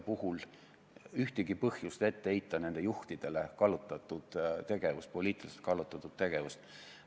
– puhul ühtegi põhjust heita nende juhtidele ette poliitiliselt kallutatud tegevust.